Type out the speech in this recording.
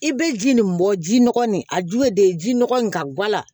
I bɛ ji nin bɔ ji nɔgɔ nin a ju ye de ji nɔgɔ in ka gula